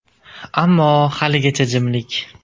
Ammo haligacha jimlik.